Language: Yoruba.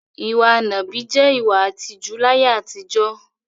Ìwa nàbì jẹ́ ìwà ìtìjú láyé àtijọ́.